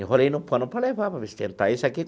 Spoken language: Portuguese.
Enrolei no pano para levar, para ver se tenta isso aqui.